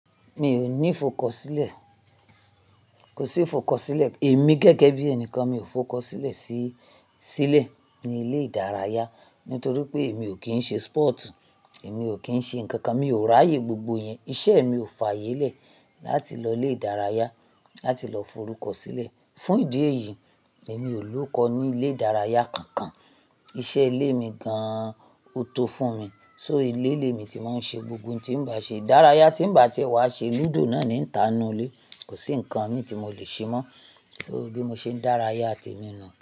Mi ò ní fọkọ sílẹ̀, kò sí fọkọ sílẹ̀. Èmi gẹ́gẹ́ bí ẹnìkan mi ò fọkọ sílẹ̀ sí, sílẹ̀ ní ilé ìdárayá torí pé mi ò kí ń ṣe sport, èmi ò kí ń ṣe nǹkan kan, mi ò ráyè gbogbo ẹ̀yin. Iṣẹ́ mi ò fàyè lẹ̀ láti lọ ilé ìdárayá láti lọ forúkọ sílẹ̀. Fún ìdí èyí, èmi ò lóko ní ilé ìdárayá kankan. Iṣẹ́ ilé mi gan-an ó tó fún mi, so ilé ilé mi tí mà ń ṣe gbogbo ohun tí ń bá ṣe ìdárayá tí bá ti wá ṣe. Lúdò náà ni ń tàná nu ilé, kò sí nǹkan kan mi tí mo lè ṣe mọ́, so bí mo ṣe ń dárayá temi nù.